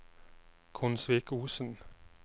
Konsvikosen